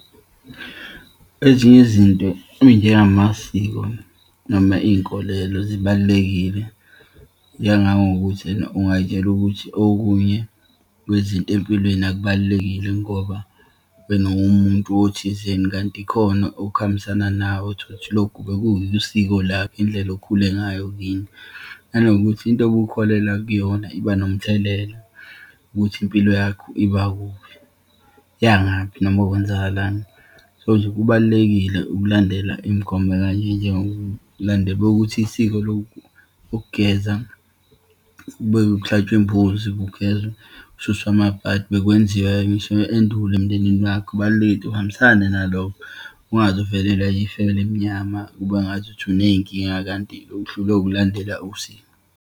Ezinye izinto eyinjengomasiko noma iyinkolelo zibalulekile, njengangokuthi ena ungayitshela ukuthi okunye kwezinto empilweni akubalulekile ngoba wena uwumuntu othizeni, kanti kukhona okuhambisana nawe. Uthola ukuthi lokhu bekuwusiko lakho, indlela okhule ngayo kini, nanokuthi into obukholelwa kuyona iba nomthelela ukuthi impilo yakho iba kuphi, iyangaphi noma kwenzakalani. So, nje kubalulekile ukulandela imigomo ekanje njengokulandela ukuthi isiko lokugeza kube kuhlatshwe imbuzi, kugezwa, kususwe amabhadi. Bekwenziwa ngisho endulo emndenini wakho, kubaluleke uhambisane nalokho ungaze uvelelwa ifu elimnyama kube ngazuthi uneyinkinga kanti uhlulwe ukulandela usiko.